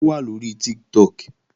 Ó wà lóri Tiktok